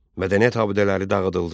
Mədəniyyət abidələri dağıdıldı.